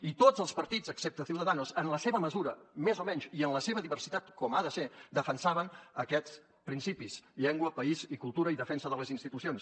i tots els partits excepte ciudadanos en la seva mesura més o menys i en la seva diversitat com ha de ser defensaven aquests principis llengua país i cultura i defensa de les institucions